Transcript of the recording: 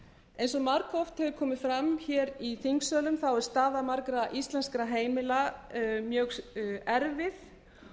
eins og margoft hefur komið fram hér í þingsölum er staða margra íslenskra heimila mjög erfið